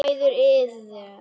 Mæður iðrast.